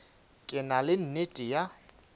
ke na le nnete ya